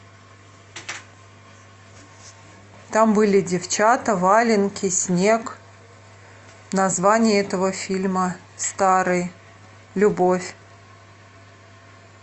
там были девчата валенки снег название этого фильма старый любовь